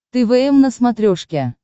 твм на смотрешке